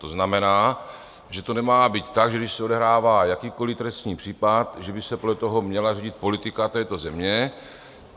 To znamená, že to nemá být tak, že když se odehrává jakýkoliv trestní případ, že by se podle toho měla řídit politika této země.